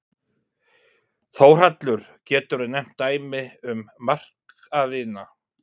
Þórhallur: Geturðu nefnt dæmi um markaðina?